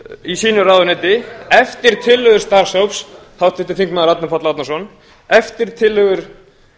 í sínu ráðuneyti eftir tillögu starfshóps háttvirtur þingmaður árni páll árnason eftir tillögur